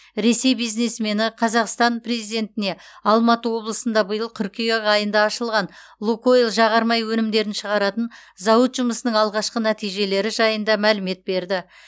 ресей бизнесмені қазақстан президентіне алматы облысында биыл қыркүйек айында ашылған лукойл жағармай өнімдерін шығаратын зауыт жұмысының алғашқы нәтижелері жайында мәлімет берді